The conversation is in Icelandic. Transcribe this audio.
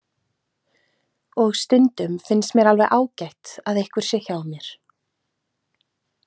Og stundum finnst mér alveg ágætt að einhver sé hjá mér.